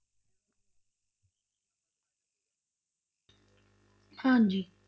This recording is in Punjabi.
ਹਾਂਜੀ।